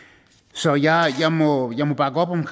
så jeg må bakke op om